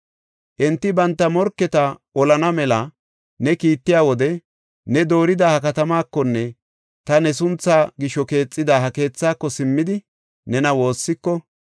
“Enti banta morketa olana mela ne kiittiya wode ne doorida ha katamaakonne ta ne sunthaa gisho keexida ha keethaako simmidi nena woossiko,